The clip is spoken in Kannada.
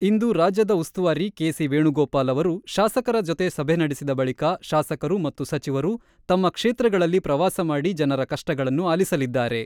ಇಂದು ರಾಜ್ಯದ ಉಸುವಾರಿ ಕೆ.ಸಿ.ವೇಣುಗೋಪಾಲ್ ಅವರು ಶಾಸಕರ ಜೊತೆ ಸಭೆ ನಡೆಸಿದ ಬಳಿಕ ಶಾಸಕರು ಮತ್ತು ಸಚಿವರು ತಮ್ಮ ಕ್ಷೇತ್ರಗಳಲ್ಲಿ ಪ್ರವಾಸ ಮಾಡಿ ಜನರ ಕಷ್ಟಗಳನ್ನು ಆಲಿಸಲಿದ್ದಾರೆ.